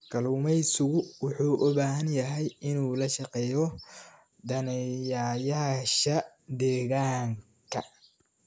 Kalluumeysigu wuxuu u baahan yahay inuu la shaqeeyo daneeyayaasha deegaanka.